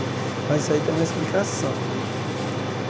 Mas isso aí tem uma explicação né.